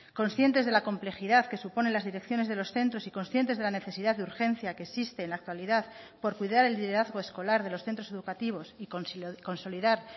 conscientes de la complejidad que supone las direcciones de los centros y conscientes de la necesidad de urgencia que existe en la actualidad por cuidar el liderazgo escolar de los centros educativos y consolidar